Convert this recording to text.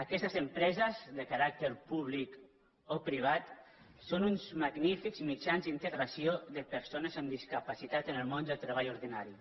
aquestes empreses de ca·ràcter públic o privat són uns magnífics mitjans d’in·tegració de persones amb discapacitat en el món del treball ordinari